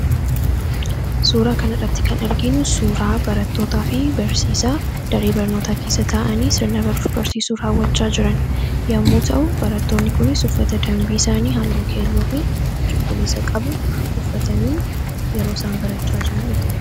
suuraa kana irratti kan argiinu suuraa barattootaa fi barsiisaa darii barnootaa keessa taa’anii sirnabaruuf barsiisuurawwachaa jiran yommuu ta'u barattoonni kunis uffata dambii isaanii haalloo keelloo fi cuquliisa qabu uffatanii yeroo isaan barachaa jiran u